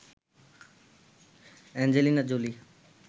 Angelina Jolie